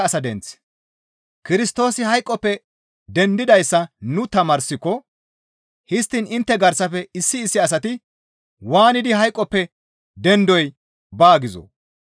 Kirstoosi hayqoppe dendidayssa nu tamaarsiko histtiin intte garsafe issi issi asati waanidi hayqoppe dendoy baa gizoo?